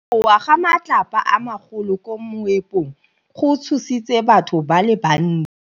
Go wa ga matlapa a magolo ko moepong go tshositse batho ba le bantsi.